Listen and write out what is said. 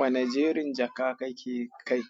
Wane jerin jaka kake kai?